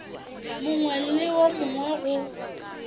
mongwe le wo mongwe go